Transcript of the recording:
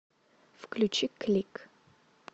включи клик